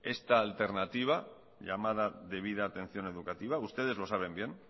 esta alternativa llamada debida atención educativa ustedes lo saben bien